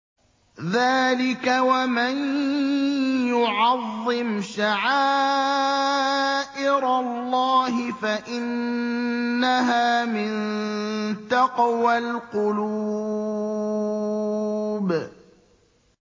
ذَٰلِكَ وَمَن يُعَظِّمْ شَعَائِرَ اللَّهِ فَإِنَّهَا مِن تَقْوَى الْقُلُوبِ